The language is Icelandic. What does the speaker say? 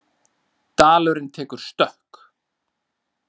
Dalurinn tekur stökk